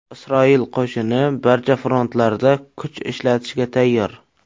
Isroil qo‘shini barcha frontlarda kuch ishlatishga tayyor.